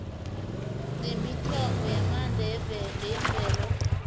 nemithombo yamandla yemvelo